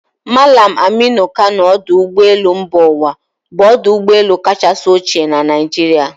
Mallam Aminu Kano Ódu Ụgbọelu mba uwa bụ ọdụ ụgbọelu kacha ochie na Naịjirịa.